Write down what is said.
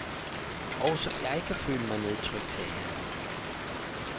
Også jeg kan føle mig nedtrykt, sagde han.